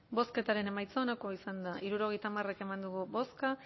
bozketaren emaitza onako izan da hirurogeita hamar eman dugu bozka